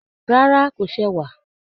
Rárá, kò ṣewà